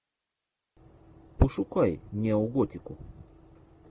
пошукай неоготику